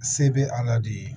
Se bɛ ala de ye